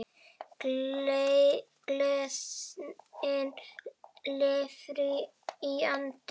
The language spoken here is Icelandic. Gleðin lifir í anda Ellu.